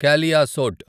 Kaliasot